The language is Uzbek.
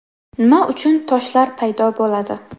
Nima uchun toshlar paydo bo‘ladi?